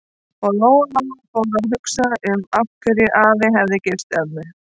Og Lóa-Lóa fór að hugsa um af hverju afi hefði gifst ömmu.